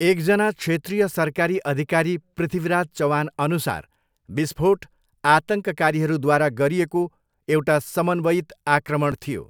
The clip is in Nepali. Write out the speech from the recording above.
एकजना क्षेत्रीय सरकारी अधिकारी पृथ्वीराज चवानअनुसार, विस्फोट 'आतङ्ककारीहरूद्वारा गरिएको एउटा समन्वयित आक्रमण' थियो।